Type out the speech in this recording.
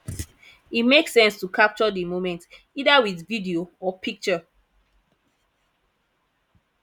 e make sense to capture di moment either with video or picture